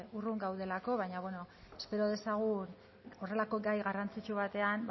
urrun gaudelako baina bueno espero dezagun horrelako gai garrantzitsu batean